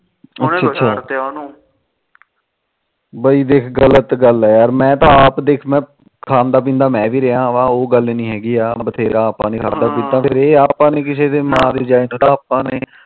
ਬਾਈ ਦੇਖ ਗਲਤ ਗੱਲ ੱਆ ਮੈ ਤਾ ਆਪ ਖਾਂਦਾ ਪੀਦਾ ਮੈ ਵੀ ਰਿਹਾ ਵਾ ਉਹ ਗੱਲ ਨੀ ਹੈਗੀ ਆ ਬਥੇਰਾ ਆਪਾ ਨੇ ਖਾਦਾ ਪੀਤਾ ਪਰ ਇਹ ਆ ਕਿਸੇ ਦੇ ਮਾਂ ਦੇ ਜਾਏ ਨੂੰ ਆਪਾ ਨੇ